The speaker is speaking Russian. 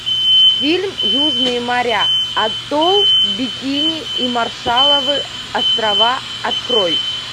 фильм южные моря атолл бикини и маршалловы острова открой